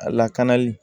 A lakanali